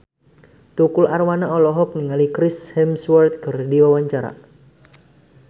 Tukul Arwana olohok ningali Chris Hemsworth keur diwawancara